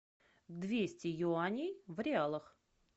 двести юаней в реалах